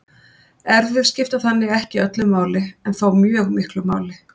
erfðir skipta þannig ekki öllu máli en þó mjög miklu máli